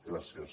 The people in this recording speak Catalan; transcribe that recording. gràcies